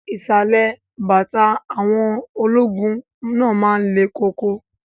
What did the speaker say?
Ìsàlẹ̀ bàtà àwọn ọmọ ológun náà lẹ̀ koko